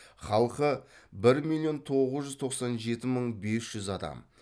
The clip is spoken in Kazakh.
халқы бір миллион тоғыз жүз тоқсан жеті мың бес жүз адам